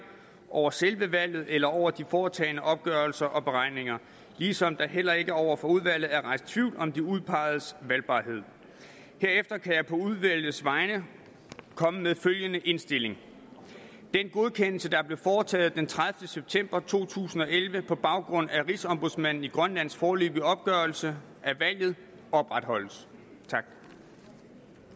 over selve valget eller over de foretagne opgørelser og beregninger ligesom der heller ikke over for udvalget er rejst tvivl om de udpegedes valgbarhed herefter kan jeg på udvalgets vegne komme med følgende indstilling den godkendelse der blev foretaget den tredivete september to tusind og elleve på baggrund af rigsombudsmanden i grønlands foreløbige opgørelse af valget opretholdes